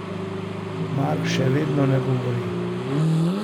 Mark še vedno ne odgovori.